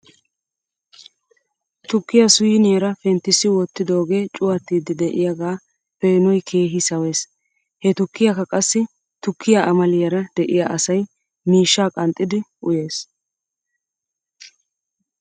Tukkiyaa siiniyaara penttissi wottidoogee cuwatiiddi de'iyaagaa peenoy keehi sawes. He tukkiyaakka qassi tukkiyaa amaliyaara de'iyaa asay mishshaa qanxxidi uyes .